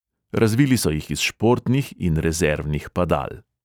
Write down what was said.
Razvili so jih iz športnih in rezervnih padal.